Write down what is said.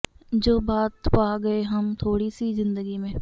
ਜੋ ਬਾਤ ਪਾ ਗਏ ਹਮ ਥੋੜ੍ਹੀ ਸੀ ਜ਼ਿੰਦਗੀ ਮੇਂ